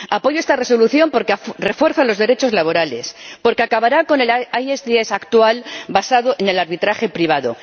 Apoyo esta Resolución, porque refuerza los derechos laborales, porque acabará con el ISDS actual, basado en el arbitraje privado.